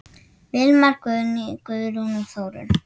Vilmar, Guðný, Guðrún og Þórunn.